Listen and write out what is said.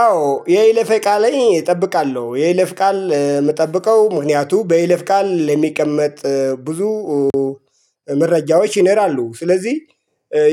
አዎ የይለፈ ቃል እጠብቃለሁ የይለፍ ቃል የምጠብቀው ምክንያቱም በይለፍ ቃል የሚቀመጥ ብዙ መረጃዎች ይነራሉ። ስለዚህ